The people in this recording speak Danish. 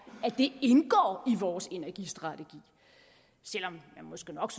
at det indgår i vores energistrategi selv om man måske nok